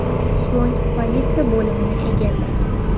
So‘ng politsiya bo‘limini egallagan”.